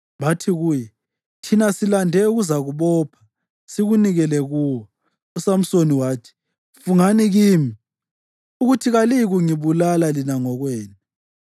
Bathi kuye, “Thina silande ukuzakubopha sikunikele kuwo.” USamsoni wathi, “Fungani kimi ukuthi kaliyikungibulala lina ngokwenu.”